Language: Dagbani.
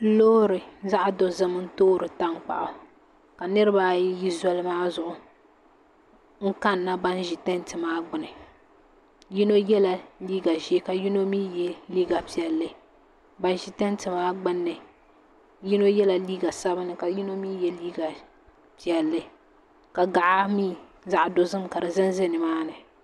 Loori zaɣ dozim n toori tankpaɣu ka nirabaayi ʒi zoli maa zuɣu n kanna ban ʒi tanti maa gbuni yino yɛla liiga ʒiɛ ka yino mii yɛ liiga piɛlli ban ʒi tanti maa gbunni yino yɛla liiga sabinli ka yino mii yɛ liiga piɛlli ka gaɣa zaɣ dozim ka di ʒɛnʒɛ nimaani